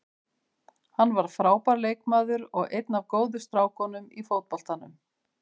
Hann var frábær leikmaður og er einn af góðu strákunum í fótboltanum.